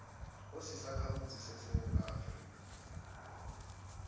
osisakhamuzi sesewula afrika